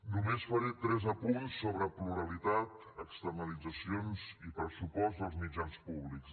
només faré tres apunts sobre pluralitat externalitzacions i pressupost dels mitjans públics